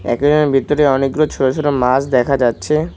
একুইরিয়ামের ভিতরে অনেকগুলো ছোট ছোট মাছ দেখা যাচ্ছে।